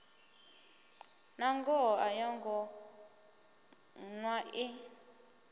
nangoho a yongo ṱwa i